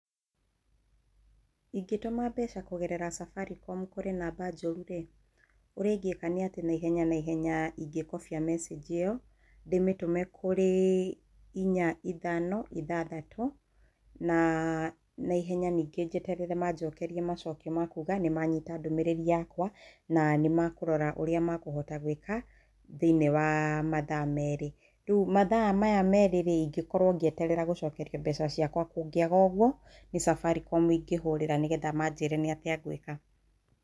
Ingĩtũma mbeca kũgerera Safaricom kũri namba njũrũ rĩ, ũrĩa ingĩka nĩ atĩ naihenya naihenya ingĩkobia message ĩyo, ndĩmĩtũme kũrĩ inya ithano ithathatũ, na naihenya ningĩ njeterere maanjokerie macokio ma kuuga nĩ manyita ndũmĩrĩri yakwa na nĩ makũrora ũrĩa makũhota gũĩka thiĩniĩ wa mathaa merĩ. Rĩu mathaa maya merĩ rĩ ingĩkorwo ngĩeterera mbeca ciakwa. Kũngĩaga ũguo, nĩ Safaricom ingũhũrĩra nĩgetha manjĩre nĩ atĩa ngwĩka.